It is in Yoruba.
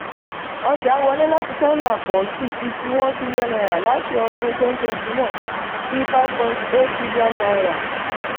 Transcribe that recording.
ọjà wọlé láti china pọ̀ sí fifty one trillion naira láti ọdún twenty twenty one sí five point eight trillion naira